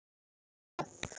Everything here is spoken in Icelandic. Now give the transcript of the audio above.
Og þeir eru það.